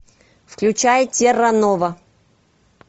включай терра нова